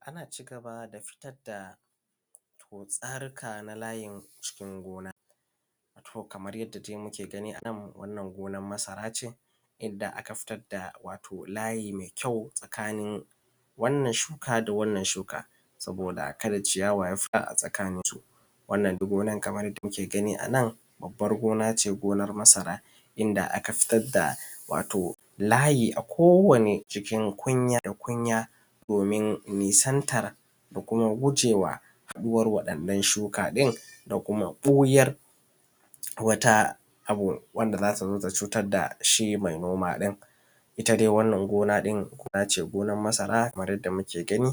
Ana cigaba da fitar da tsarika na layin cikin gona wato kamar yadda dai muke gani anan wannan gonar masarace da aka fitar da wato layi mai kyau tsakanin wannan shuka da wannan shuka saboda kada ciyawa ya fita a tsakaninsu. Wannan gonan kamar dai yadda muke gani anan babbar gonace gonar masara inda aka tsaga wato layi a kowani jikin kunya da kunya domin nisantar da kuma gujewa ruwar waɗannan shuka ɗin da kuma ɓoyar wata abu wanda zatazo ta cutar dashi mai noma ɗin. itta dai wannan gona ɗin gonace gonar masara kamar yadda muke gani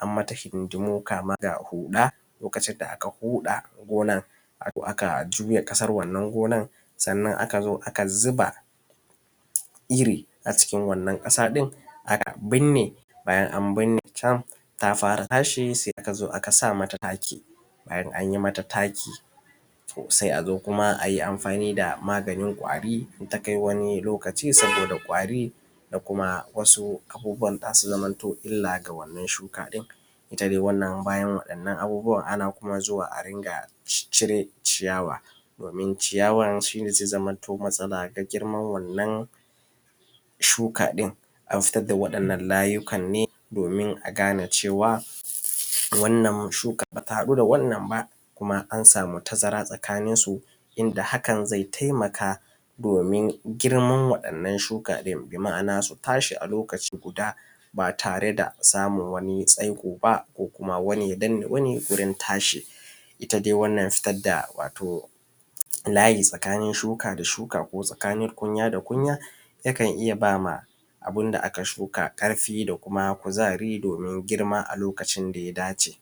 ammata hidindimu kama ga huɗa lokacin da aka huɗa gona wato aka ƙasar wannan gonar sannan akazo aka zuba irri a cikin wannan ƙasa ɗin aka binne, bayan an binnecan tafara tashi sai a kazo aka samata taki, bayan anyi mata maki to sai azo kuma ayi amfani da maganin kwari in takai wani lokaci saboda kwari da kuma wasu abubuwan zasu zama illa ga wannan shuka ɗin. Itta dai wannan bayan waɗannan abubuwan ana kuma zuwa a rinƙa ciccire ciyawa domin ciyawan shine zai zamanto matsala ga girman wannan shuka ɗin. Anfitar da waɗannan layika ne domin a tabbatar da cewa wannan shuka bata haɗu da wannan ba kuma an samu tazara tsakaninsu inda hakan zai taimaka domin girman waɗannan shuka ɗin bima’ana su tashi a lokaci guda bataredasamun wani tsaikoba wani Ya danne wani gurin tashi. Itta dai wannan wato layi tsakanin shuka da shuka ko tsakanin kunya da kunya yakan iyya bama abunda da aka shuka ƙarfi da kuma kuzari domin girma a lokacin da yadace